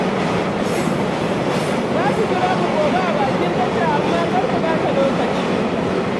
Za su jira ku gobe a bakin tasha, amma kar ku ɓata lokaci.